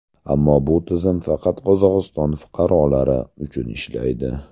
Ammo bu tizim faqat Qozog‘iston fuqarolari uchun ishlaydi.